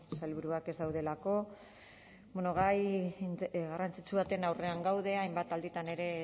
sailburuak ez daudelako bueno gai garrantzitsu baten aurrean gaude hainbat alditan ere